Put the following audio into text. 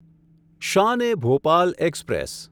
Shan e Bhopal express